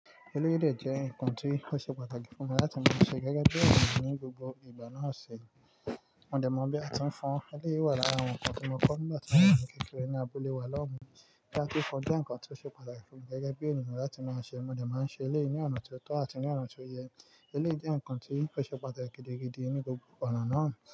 Eléyìí de jẹ́ nǹkan tí ó ṣe pàtàkì fún mi láti máa ṣe gẹ́gẹ́ bí àwọn ènìyàn ní gbogbo ìgbà náà ṣe. Mo dẹ̀ mọ bí a ti ń fọn eléyìí wà lára àwọn nǹkan tí mo kọ́ nígbà tí mò wà ní kékeré ní abúlé wa lọ́hun Láti fọ jẹ́ nǹkan tí ó ṣe pàtàkì fún mi gẹ́gẹ́ bí ènìyàn láti máa ṣe, mo dẹ̀ máa ń ṣe eléyìí ní ọ̀nà tó tọ́ àti ní ọ̀nà tó yẹ. Eléyìí jẹ́ nǹkan tí ó ṣe pàtàkì gidigidi ní gbogbo ọ̀nà náà.